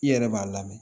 I yɛrɛ b'a lamɛn